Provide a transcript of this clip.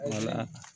Wala